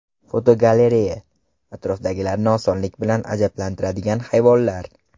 Fotogalereya: Atrofdagilarni osonlik bilan ajablantiradigan hayvonlar.